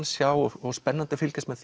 sjá og spennandi að fylgjast með